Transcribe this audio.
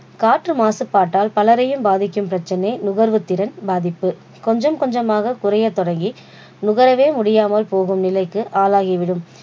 காற்று மாசுபாட்டால் பலரையும் பாதிக்கும் பிரச்சனை நுகர்வு திறன் பாதிப்பு. கொஞ்சம் கொஞ்சமாக குறைய தொடங்கி நுகரவே முடியாமல் போகும் நிலைக்கு ஆளாகிவிடும்.